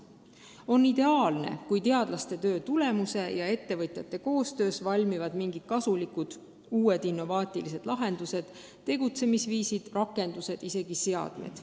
On ideaalne, kui teadlaste ja ettevõtjate koostöös valmivad mingid kasulikud uued innovaatilised lahendused, tegutsemisviisid, rakendused, isegi seadmed.